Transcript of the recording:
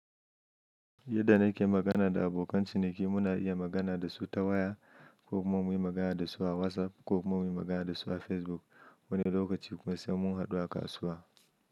Yadda na ke magana da abokan ciniki, muna iya magana da su ta waya ko kuma muyi magana da su a WhatsApp, ko kuma muyi magana da su a Facebook, wani lokaci kuma sai mun hadu a kasuwa.